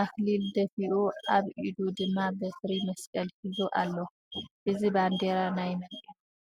ኣክሊል ደፊኡ ኣብኢዱ ድማ በትሪ መስቀል ሒዙ ኣሎ። እዚ ባንዴራ ናይ መ ን እዩ ?